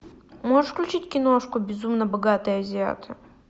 можешь включить киношку безумно богатые азиаты